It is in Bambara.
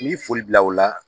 N y'i foli bila o la.